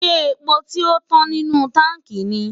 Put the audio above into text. ṣé epo tio tán nínú táǹkì ni?